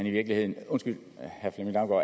i virkeligheden